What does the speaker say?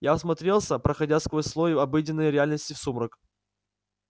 я всмотрелся проходя сквозь слой обыденной реальности в сумрак